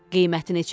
Qiyməti neçədir?